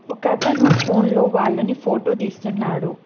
ఒకతను ఫోన్ లో వాళ్లని ఫోటో తీస్తున్నాడు.